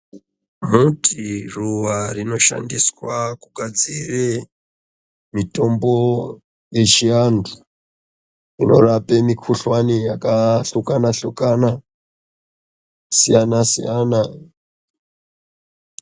Muti ruwa rinoshandiswe kugadzire mutombo yechiantu unorape mikhuhlwani yakasukana sukana siyana siyana.